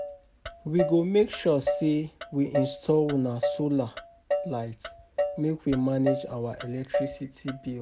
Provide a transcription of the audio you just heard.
We go make sure sey we install um solar light, make we manage our electricity bill